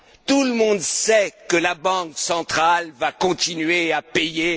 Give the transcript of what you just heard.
Tout le monde sait que la Banque centrale va continuer à payer.